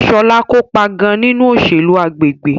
Shola kopa gan-an ninu oselu agbegbe